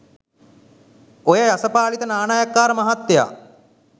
ඔය යසපාලිත නානයක්කාර මහත්තයා